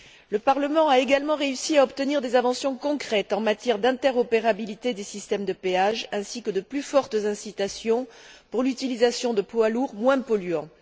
Le Parlement a également réussi à obtenir des avancées concrètes en matière d'interopérabilité des systèmes de péage ainsi que de plus fortes incitations pour l'utilisation de poids lourds moins polluants.